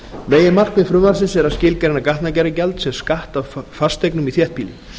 meginmarkmið frumvarpsins er að skilgreina gatnagerðargjald sem skatt af fasteignum í þéttbýli